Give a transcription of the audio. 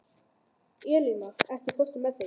Eleina, ekki fórstu með þeim?